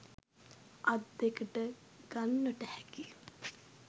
අත් දෙකට ගන්නට හැකි